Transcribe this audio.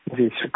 जी शुक्रिया